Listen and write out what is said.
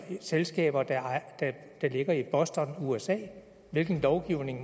selskaber der ligger i boston usa hvilken lovgivning